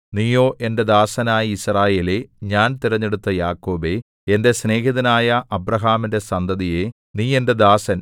നീയോ എന്റെ ദാസനായ യിസ്രായേലേ ഞാൻ തിരഞ്ഞെടുത്ത യാക്കോബേ എന്റെ സ്നേഹിതനായ അബ്രാഹാമിന്റെ സന്തതിയേ നീ എന്റെ ദാസൻ